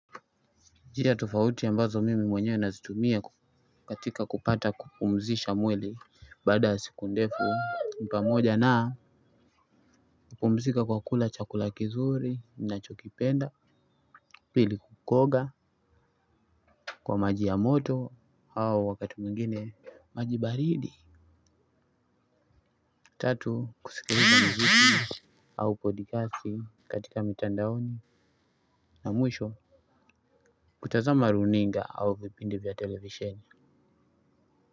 Njia tofauti ambazo mimi mwenyewe nazitumia katika kupata kupumzisha mwili baada siku ndefu ni pamoja na kupumzika kwa kula chakula kizuri ninachokipenda pili, kuoga kwa maji ya moto au wakati mwingine maji baridi tatu kusikiliza muziki au podikasi katika mitandaoni na mwisho kutazama runinga au vipindi vya televisheni.